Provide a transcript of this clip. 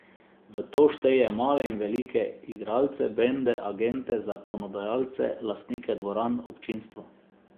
V to šteje male in velike igralce, bende, agente, zakonodajalce, lastnike dvoran, občinstvo.